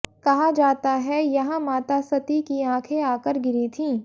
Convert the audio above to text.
कहा जाता है यहां माता सती की आंखें आकर गिरी थीं